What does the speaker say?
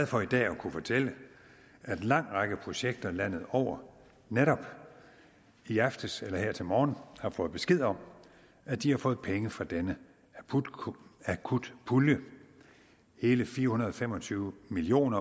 for i dag at kunne fortælle at en lang række projekter landet over netop i aftes eller her til morgen har fået besked om at de har fået penge fra denne akutpulje hele fire hundrede og fem og tyve million